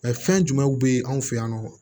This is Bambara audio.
fɛn jumɛnw be yen an fe yan nɔ